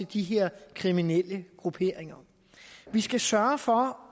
de her kriminelle grupperinger vi skal sørge for